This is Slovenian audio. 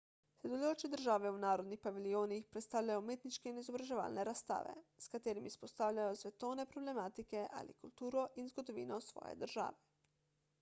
sodelujoče države v narodnih paviljonih predstavljajo umetniške in izobraževalne razstave s katerimi izpostavljajo svetovne problematike ali kulturo in zgodovino svoje države